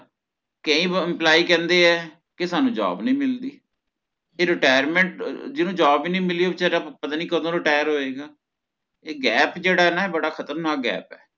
ਕਈ employee ਕਹੰਦੇ ਹੈ ਕੀ ਸਾਨੂੰ job ਨੀ ਮਿਲਦੀ ਕੀ retirement ਅਹ ਜਿਹਨੂੰ job ਹੀ ਨੀ ਮਿਲਿ ਓਹ ਵਿਚਾਰਾਂ ਪਤਾ ਨਹੀਂ ਕਦੋ retire ਹੋਇਗਾ ਏ gap ਜੇਹੜਾ ਹੈ ਨਾ ਬੜਾ ਖਤਰਨਾਕ gap ਹੈ